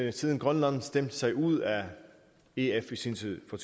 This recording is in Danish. at siden grønland stemte sig ud af ef i sin tid for